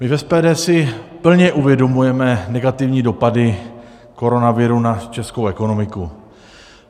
My v SPD si plně uvědomujeme negativní dopady koronaviru na českou ekonomiku.